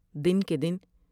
دن کے دن بی خبر